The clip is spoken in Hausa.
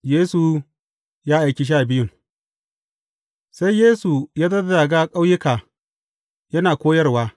Yesu ya aiki sha biyun Sai ya Yesu zazzaga ƙauyuka yana koyarwa.